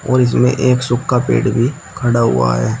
और इसमें एक सूखा पेड़ भी खड़ा हुआ है।